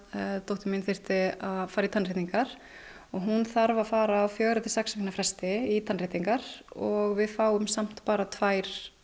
dóttir mín þyrfti að fara í tannréttingar og hún þarf að fara á fjögurra til sex vikna fresti í tannréttingar og við fáum samt bara tvær